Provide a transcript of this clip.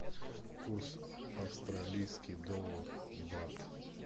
курс австралийский доллар бат